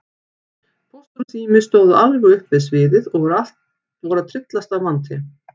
Póstur og Sími stóðu alveg upp við sviðið og voru að tryllast af monti.